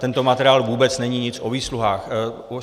Tento materiál vůbec není nic o výsluhách.